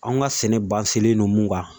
Anw ka sɛnɛ len don mun kan